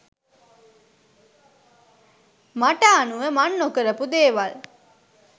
මට අනුව මං නොකරපු දේවල්.